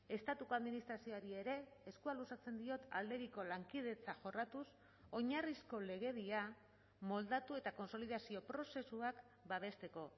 estatuko administrazioari ere eskua luzatzen diot aldebiko lankidetza jorratuz oinarrizko legedia moldatu eta kontsolidazio prozesuak babesteko